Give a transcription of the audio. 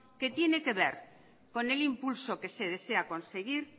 que tiene que ver con el impulso que se desea conseguir